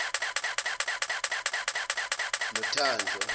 nothanjwa